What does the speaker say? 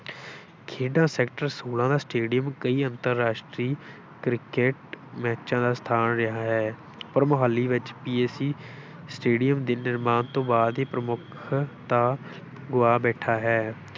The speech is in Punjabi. ਖੇਡਾਂ sector ਛੋਲਾਂ ਦਾ stadium ਕਈ ਅੰਤਰਰਾਸ਼ਟਰੀ ਕ੍ਰਿਕਟ ਮੈਚਾਂ ਦਾ ਸਥਾਨ ਰਿਹਾ ਹੈ ਪਰ ਮੋਹਾਲੀ ਵਿੱਚ stadium ਦੇ ਨਿਰਮਾਣ ਤੋਂ ਬਾਅਦ ਇਹ ਪ੍ਰਮੁੱਖਤਾ ਗੁਆ ਬੈਠਾ ਹੈ।